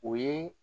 O ye